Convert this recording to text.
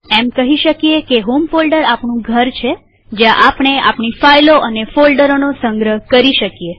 એમ કહી શકીએ કે હોમ ફોલ્ડર આપણું ઘર છે જ્યાં આપણેઆપણી ફાઈલો અને ફોલ્ડરોનો સંગ્રહ કરી શકીએ